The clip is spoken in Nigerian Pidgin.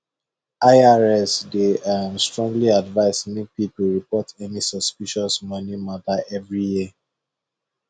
irs dey um strongly advise make people report any suspicious money matter every year